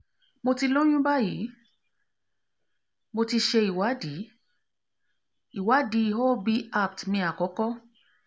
mo ti lóyún báyìí mo ti ṣe ìwádìí ìwádìí ob appt mi àkọ́kọ́